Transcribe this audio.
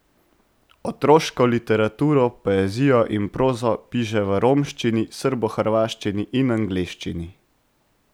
Otroško literaturo, poezijo in prozo piše v romščini, srbohrvaščini in angleščini.